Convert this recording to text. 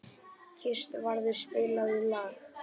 Kristvarður, spilaðu lag.